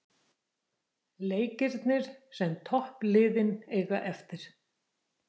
Leikirnir sem toppliðin eiga eftir